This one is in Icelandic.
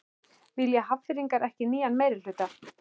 Vilja Hafnfirðingar ekki nýjan meirihluta?